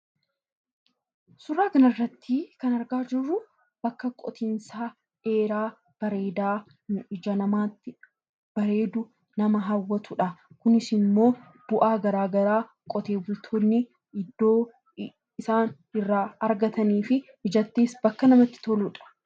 Suuraa kanarratti kan argaa jirru bakka qotiinsaa dheeraa, bareedaa, ija namaatti bareedu, nama hawwatu dha. Kunis immoo, bu'aa garaagaraa qotee bultoonni iddoo isaan irraa argatanii fi ijattis bakka namatti toluudha.